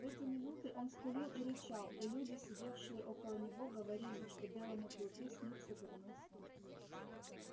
в эти минуты он скулил и рычал и люди сидевшие около него говорили что белому клыку снится дурной сон